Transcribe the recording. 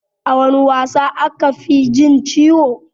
A wana wasa aka fi jin ciwo?